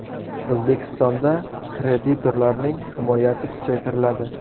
O‘zbekistonda kreditorlarning himoyasi kuchaytiriladi.